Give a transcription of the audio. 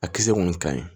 A kisɛ kɔni ka ɲi